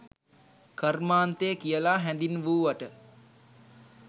කර්මාන්තය කියලා හැඳින්වූවට